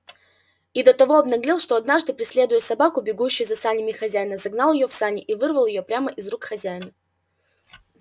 и до того обнаглел что однажды преследуя собаку бегущую за санями хозяина загнал её в сани и вырвал её прямо из рук хозяина